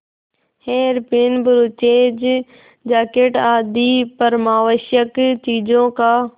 hairpin brooches jacket आदि परमावश्यक चीजों का